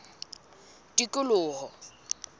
tikoloho